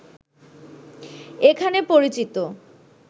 এখানে পরিচিত